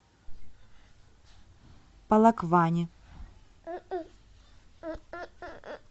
полокване